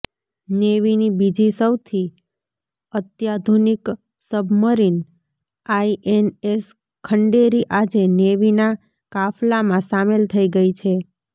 નેવીની બીજી સૌથી અત્યાધુનિક સબમરીન આઈએનએસ ખંડેરી આજે નેવીના કાફલામાં સામેલ થઈ ગઈ છે